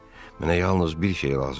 Mənə yalnız bir şey lazımdır.